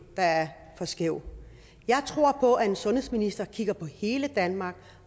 der er for skæv jeg tror på at en sundhedsminister kigger på hele danmark